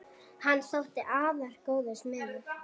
Hann þótti afar góður smiður.